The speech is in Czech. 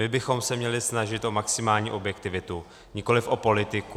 My bychom se měli snažit o maximální objektivitu, nikoliv o politiku.